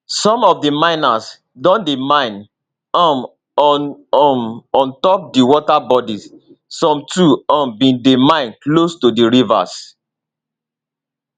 some of di miners don dey mine um on um on top di water bodies some too um bin dey mine close to di rivers